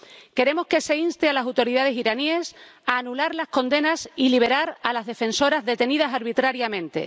Queremos que se inste a las autoridades iraníes a anular las condenas y liberar a las defensoras detenidas arbitrariamente